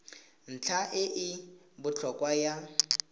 ntlha e e botlhokwa ya